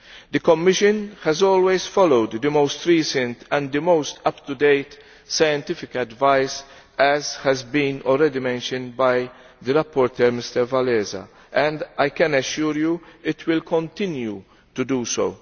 The Commission has always followed the most recent and the most up to date scientific advice, as has already been mentioned by the rapporteur Mr Wałęsa, and I can assure you it will continue to do so.